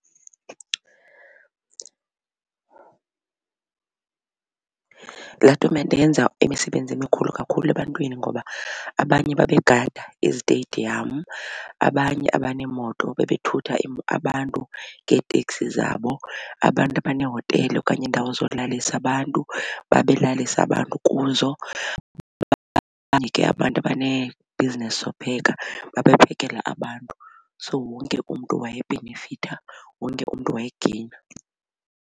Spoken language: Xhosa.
Laa tumente yenza emisebenzi emikhulu kakhulu ebantwini ngoba abanye babegada izitediyamu abanye abaneemoto bebethutha abantu ngeeteksi zabo. Abantu abaneehotele okanye iindawo zolalisa abantu babelalisa abantu kuzo abantu abaneebhizinesi zopheka babephekela abantu. So wonke umntu wayebhenefitha wonke umntu wayegeyina.